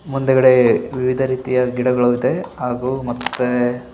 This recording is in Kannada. ಮುಂದಗಡೆ ವಿವಿಧ ರೀತಿಯ ಗಿಡಗಳು ಇದೆ ಹಾಗೂ ಮತ್ತೆ --